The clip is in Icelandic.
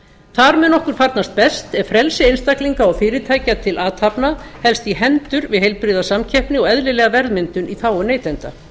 þar mun okkur farnast best ef frelsi einstaklinga og fyrirtækja til athafna helst í hendur við heilbrigða samkeppni og eðlilega verðmyndun í þágu neytenda